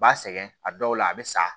U b'a sɛgɛn a dɔw la a be sa